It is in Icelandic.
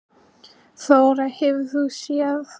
Þóra: Hefur þú séð lánasamninga bankanna og Íbúðalánasjóðs?